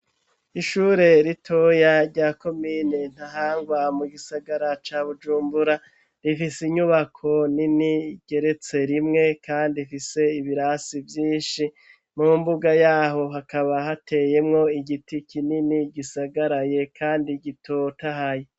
Ishure ritoya rya komine Ntahangwa mu gisagara ca bujumbura rifise inyubako nini igeretse rimwe kandi ifise ibirasi vyinshi mu mbuga yaho hakaba hateyemwo igiti kinini gisagaraye kandi gitotahaye.